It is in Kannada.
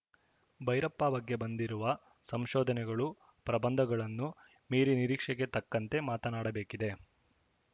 ಭೈರಪ್ಪ ಬಗ್ಗೆ ಬಂದಿರುವ ಸಂಶೋಧನೆಗಳು ಪ್ರಬಂಧಗಳನ್ನು ಮೀರಿ ನಿರೀಕ್ಷೆಗೆ ತಕ್ಕಂತೆ ಮಾತನಾಡಬೇಕಿದೆ